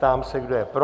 Ptám se, kdo je pro?